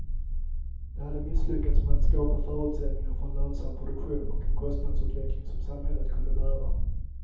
De hade misslyckats med att skapa förutsättningarna för en lönsam produktion och en kostnadsutveckling som samhället kunde bära.